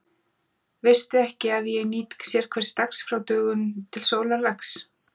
Veistu ekki, að ég nýt sérhvers dags frá dögun til sólarlags?